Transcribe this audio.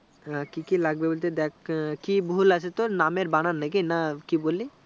হ্যাঁ, কি কি লাগবে বলতে দেখ আহ কি ভুল আছে তোর নামের বানান নাকি না কি বললি